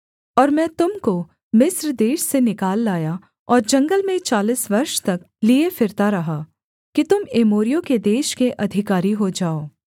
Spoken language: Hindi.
और मैं तुम को मिस्र देश से निकाल लाया और जंगल में चालीस वर्ष तक लिए फिरता रहा कि तुम एमोरियों के देश के अधिकारी हो जाओ